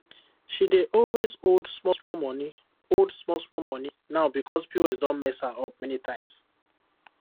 she dey always hold smallsmall money hold smallsmall money now because pos don mess her up many times